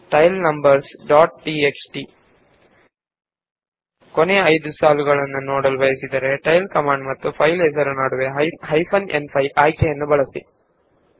tail numbers dot TXT ನಮಗೆ ಕೊನೆಯ 5 ಸಾಲುಗಳನ್ನು ಮಾತ್ರ ನೋಡಬೇಕಾದಲ್ಲಿ ಟೈಲ್ ಕಮಾಂಡ್ ಮತ್ತು ಫೈಲ್ ನ ನಡುವೆ ಹೈಫೆನ್ ನ್5 ಆಯ್ಕೆಯನ್ನು ಬಳಸಿ